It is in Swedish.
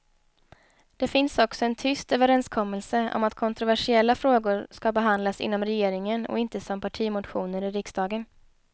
Det finns också en tyst överenskommelse om att kontroversiella frågor ska behandlas inom regeringen och inte som partimotioner i riksdagen.